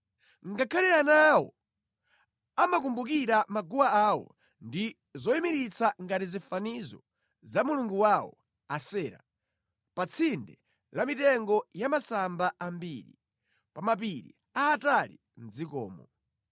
Ngakhale ana awo amakumbukira maguwa awo ndi zoyimiritsa ngati zifanizo za mulungu wawo Asera, pa tsinde la mitengo ya masamba ambiri, pa mapiri aatali mʼdzikomo.